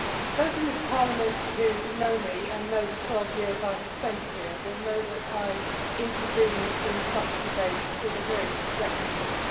Those in this Parliament who know me and know the 12 years I have spent here will know that I intervene in such debates with a great reticence.